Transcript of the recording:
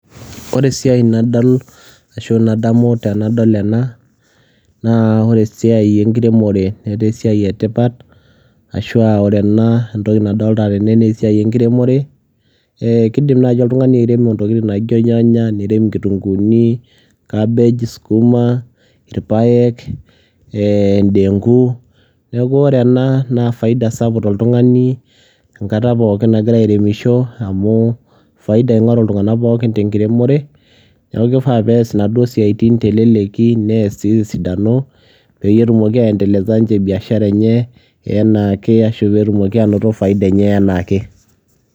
Wore esiai nadol ashu nadamu tenadol enanaa wore esiai enkiremore netaa esiai etipat ashua wore enaa entoki nadolita tena naa esiai enkiremore, eeeh kidim naaji oltungani airemo intokitin naijo irnyanya ,nirem inkitunguuni , cabbage , sukuma, irpayiek eeh indengu niaku wore enaa naa faida sapuk tooltungani enkata pookin nagira airemisho amu faida ingoru iltunganak pookin tenkiromore ,niaku kifaa niaas naduo siaitin teleleki neaas sii tesidano peyie etumoki aendeleza ninje biashara enye enaake ashu peetumoki anoto faida enye enaake.